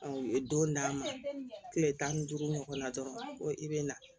u ye don d'a ma kile tan ni duuru ɲɔgɔn na dɔrɔn i be na